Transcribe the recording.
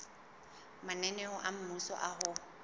mananeo a mmuso a ho